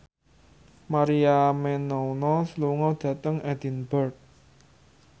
Maria Menounos lunga dhateng Edinburgh